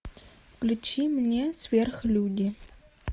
включи мне сверхлюди